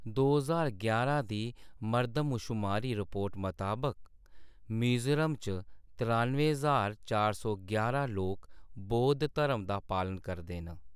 दो ज्हार यारां दी मर्दमशुमारी रिपोर्ट मताबक, मिजोरम च त्रानुएं ज्हार चार सौ यारां लोक बौद्ध धर्म दा पालन करदे न।